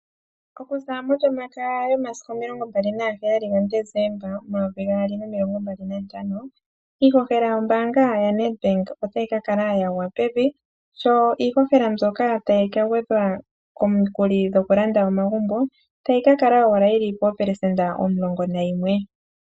Okuza molyomakaya momasiku 27 Desemba 2025 iihohela yombaanga yaNedbank otayi ka kala yagwapevi, sho iihohela mbyoka tayi kagwedhwa komikuli dhokulanda omagumbo tayi kakala owala yili po 11%